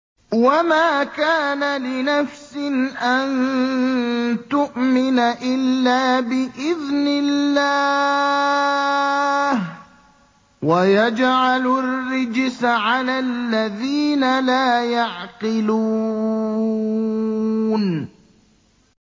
وَمَا كَانَ لِنَفْسٍ أَن تُؤْمِنَ إِلَّا بِإِذْنِ اللَّهِ ۚ وَيَجْعَلُ الرِّجْسَ عَلَى الَّذِينَ لَا يَعْقِلُونَ